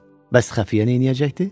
Bəs xəfiyyə neyləyəcəkdi?